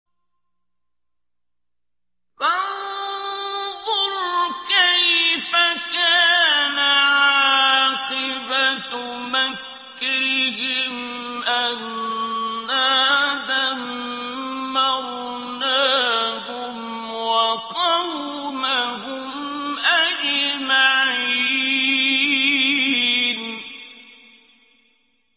فَانظُرْ كَيْفَ كَانَ عَاقِبَةُ مَكْرِهِمْ أَنَّا دَمَّرْنَاهُمْ وَقَوْمَهُمْ أَجْمَعِينَ